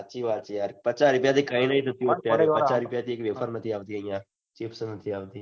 સાચી વાત યાર પચાસ રૂપિયા થી કઈ નથી થતું પચાસ રૂપિયા એક વેફર નથી આવતી chips એ નથી આવતી